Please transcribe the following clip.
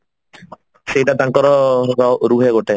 ସେଟା ତାଙ୍କର ରୁହେ ଗୋଟେ